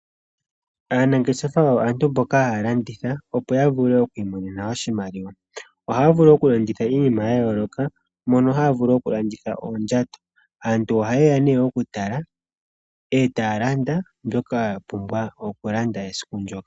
Aanangeshefa oyo aantu mboka haya landitha opo ya vule oku imonena oshimaliwa. Oha vulu oku landitha iinima ya yoloka mono haya vulu oku landitha oondjato. Aantu oha yeya ne oku tala etaya landa mbyoka ya pumbwa oku landa esiku ndjoka.